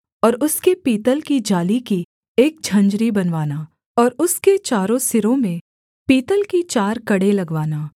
और उसके पीतल की जाली की एक झंझरी बनवाना और उसके चारों सिरों में पीतल के चार कड़े लगवाना